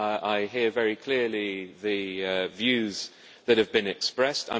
I hear very clearly the views that have been expressed.